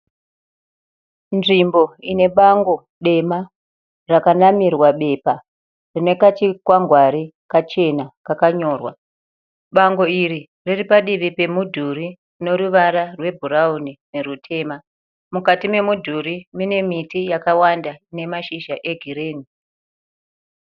Nzvimbo ine bango dema rakanamirwa bepa rine kachikwangwari kachena kakanyorwa. Bango iri riri padivi pemudhuri neruvara rwebhurawuni nerutema. Mukati memudhuri mine miti yakawanda ine mashizha e girini.